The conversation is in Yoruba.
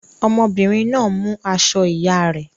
Ọmọbìnrin náà mú aṣọ ìyá rẹ̀.